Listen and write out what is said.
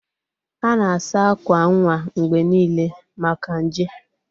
A na-asa akwa nwa mgbe niile maka nje.